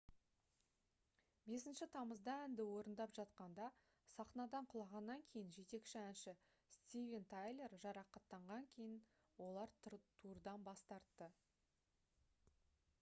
5 тамызда әнді орындап жатқанда сахнадан құлағаннан кейін жетекші әнші стивен тайлер жарақаттанған кейін олар турдан бас тартты